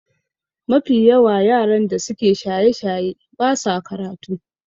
Mafi yawa yaran da suke shaye-shaye ba sa karatu